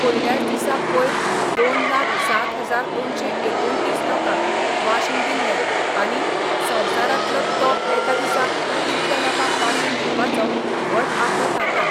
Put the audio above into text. पयल्याच दिसा पयर दोन लाख सात हजार दोनशे एकुणतीस लोकांक वाशीन दिल्ले आनी संवसारातलो तो एका दिसा इतले लोकांक वाशीन दिवपाचो व्हड आंकडो थारला.